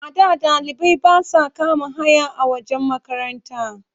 A da ɗalibai ba sa kama haya a wajen makaranta.